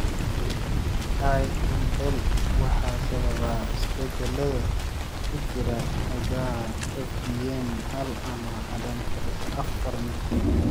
IEL waxaa sababa isbeddellada ku jira hiddaha FBN hal ama ADAMTSL afaar midkood.